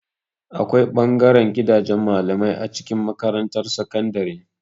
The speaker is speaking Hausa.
Akwai ɓangaren gidajen malamai a cikin makarantar sakandare.